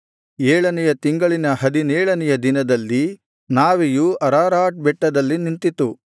ಏಳನೆಯ ತಿಂಗಳಿನ ಹದಿನೇಳನೆಯ ದಿನದಲ್ಲಿ ನಾವೆಯು ಅರಾರಾಟ್ ಬೆಟ್ಟದಲ್ಲಿ ನಿಂತಿತು